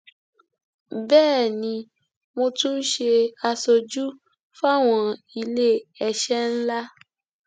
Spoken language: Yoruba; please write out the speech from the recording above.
bẹẹ ni mo tún ń ṣe aṣojú fáwọn iléeṣẹ ńlá